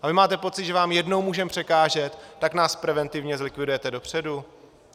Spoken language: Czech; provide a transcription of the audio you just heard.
A vy máte pocit, že vám jednou můžeme překážet, tak nás preventivně zlikvidujete dopředu?